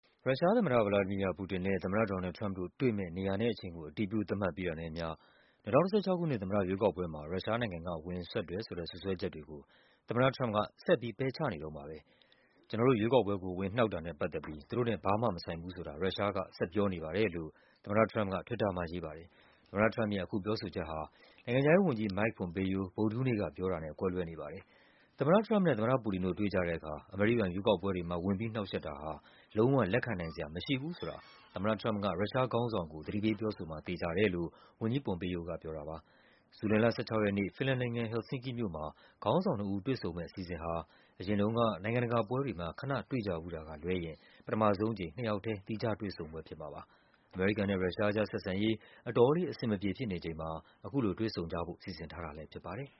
ရုရှားသမ္မတ ဗလာဒီမီယာ ပူတင်နဲ့ သမ္မတ ဒေါ်နယ်လ်ဒ် ထရမ့်ပ်တို့တွေ့မယ့် နေရာနဲ့အချိန်ကို အတည်ပြု သတ်မှတ်ပြီးတာနဲ့အမျှ ၂၀၁၆ ခုနှစ် သမ္မတရွေးကောက်ပွဲမှာ ရုရှားနိုင်ငံက ဝင်စွက်တယ်ဆိုတဲ့ စွပ်စွဲချက်တွေကို သမ္မတထရမ့်ပ်က ဆက်ပြီး ပယ်ချနေ တုန်းပါပဲ။ “ကျနော်တို့ရွေးကောက်ပွဲကို ဝင်နှောက်တာနဲ့ပတ်သက်ပြီး သူတို့နဲ့ ဘာမှမဆိုင်ဘူးဆိုတာ ရုရှားက ဆက်ပြောနေပါတယ်” လို့ သမ္မတထရမ့်ပ်က Twitter မှာရေးပါတယ်။ သမ္မတထရမ့်ပ်ရဲ့ အခုပြောဆိုချက်ဟာ နိုင်ငံခြားရေးဝန်ကြီး Mike Pompeo ဗုဒ္ဓဟူးနေ့ကပြောတာနဲ့ ကွဲလွဲနေပါတယ်။ သမ္မတ ထရမ့်ပ်နဲ့ သမ္မတပူတင်တို့ တွေ့ကြတဲ့အခါ အမေရိကန်ရွေးကောက်ပွဲတွေမှာ ဝင်ပြီးနှောက်ယှက်တာဟာ “လုံးဝ လက်ခံနိုင်စရာ မရှိဘူး” ဆိုတာ သမ္မတထရမ့်ပ်က ရုရှားခေါင်းဆောင်ကို သတိပေးပြောဆိုမှာ သေချာတယ်လို့ ဝန်ကြီး Pompeo က ပြောတာပါ။ ဇူလိုင်လ ၁၆ ရက်နေ့၊ ဖင်လန်နိုင်ငံ၊ Helsinkin မြို့မှာ ခေါင်းဆောင်နှစ်ဦး တွေ့ဆုံမယ့်အစီအစဉ်ဟာ အရင်တုန်းက နိုင်ငံတကာပွဲတွေမှာ ခနတွေ့ကြဖူးတာကလွဲရင် ပထမဆုံးအကြိမ် နှစ်ယောက်ထဲ သီးခြားတွေ့ဆုံပွဲဖြစ်မှာပါ။ အမေရိကန်နဲ့ ရုရှား အကြား ဆက်ဆံရေး အတော်လေး အဆင်မပြေဖြစ်နေချိန်မှာ အခုလို တွေ့ဆုံကြဖို့ စီစဉ်ထားတာလည်းဖြစ်ပါတယ်